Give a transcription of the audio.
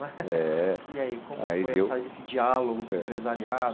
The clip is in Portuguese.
Eh. Eai, como foi essa esse diálogo com o empresariado